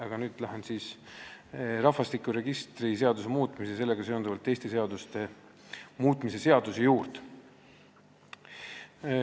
Aga lähen nüüd rahvastikuregistri seaduse muutmise ja sellega seonduvalt teiste seaduste muutmise seaduse eelnõu juurde.